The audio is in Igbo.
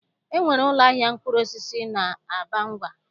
E nwere ụlọahịa mkpụrụosisi n'Abangwa